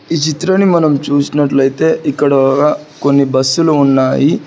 ఈ చిత్రంని మనం చూసినట్లయితే ఇక్కడ ఒగ కొన్ని బస్సులు ఉన్నాయి.